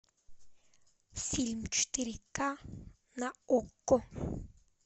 фильм четыре ка на окко